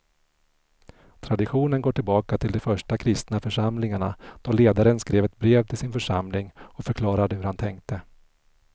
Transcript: Traditionen går tillbaka till de första kristna församlingarna då ledaren skrev ett brev till sin församling och förklarade hur han tänkte.